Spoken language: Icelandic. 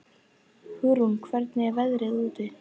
Hugrún, hvernig er veðrið úti?